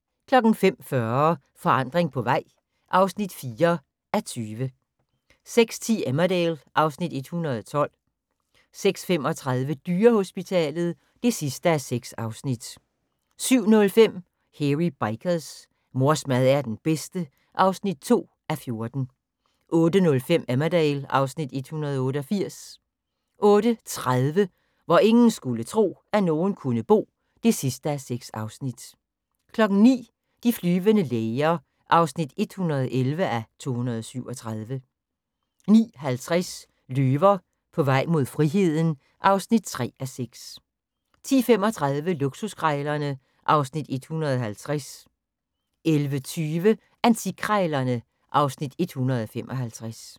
05:40: Forandring på vej (4:20) 06:10: Emmerdale (Afs. 112) 06:35: Dyrehospitalet (6:6) 07:05: Hairy Bikers: Mors mad er den bedste (2:14) 08:05: Emmerdale (Afs. 188) 08:30: Hvor ingen skulle tro, at nogen kunne bo (6:6) 09:00: De flyvende læger (111:237) 09:50: Løver på vej mod friheden (3:6) 10:35: Luksuskrejlerne (Afs. 150) 11:20: Antikkrejlerne (Afs. 155)